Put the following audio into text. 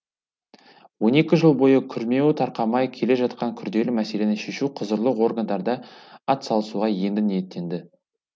он екі жыл бойы күрмеуі тарқамай келе жатқан күрделі мәселені шешуге құзырлы органдарда атсалысуға енді ниеттенді